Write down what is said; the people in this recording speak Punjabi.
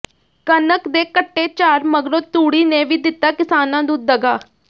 ਕਣਕ ਦੇ ਘਟੇ ਝਾੜ ਮਗਰੋਂ ਤੂੜੀ ਨੇ ਵੀ ਦਿੱਤਾ ਕਿਸਾਨਾਂ ਨੂੰ ਦਗਾ